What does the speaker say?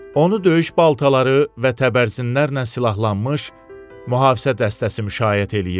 Onu döyüş baltaları və təbərzinlər ilə silahlanmış mühafizə dəstəsi müşayiət eləyirdi.